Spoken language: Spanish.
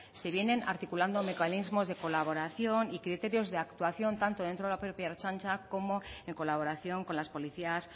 se vienen articulando mecanismos de colaboración y criterios de actuación tanto dentro de la propia ertzaintza como en colaboración con las policías